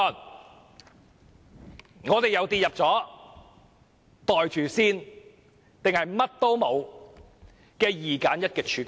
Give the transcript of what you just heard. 這樣，我們又跌進"袋住先"或甚麼也沒有這種二選一的處境中。